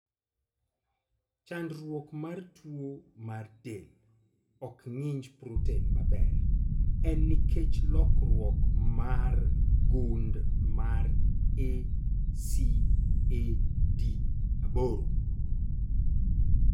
Chandruok mar tuo ma del ok ng'inj proten maber en nikech lokruok mar gund mar ACAD8.